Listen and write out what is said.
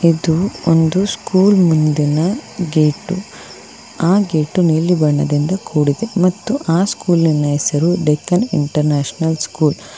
ಇದು ಒಂದು ಸ್ಕೂಲ್ ಮುಂದಿನ ಗೇಟು ಆ ಗೇಟು ನೀಲಿ ಬಣ್ಣದಿಂದ ಕೂಡಿದೆ ಮತ್ತು ಆ ಸ್ಕೂಲಿನ ಹೆಸರು ದೇಚ್ಚನ್ ಇಂಟರ್ನ್ಯಾಷನಲ್ ಸ್ಕೂಲ್ .